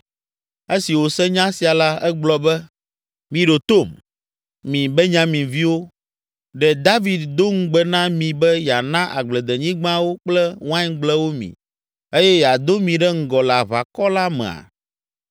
Esi wòse nya sia la, egblɔ be, “Miɖo tom, mi Benyaminviwo! Ɖe David do ŋugbe na mi be yeana agbledenyigbawo kple waingblewo mi eye yeado mi ɖe ŋgɔ le aʋakɔ la mea?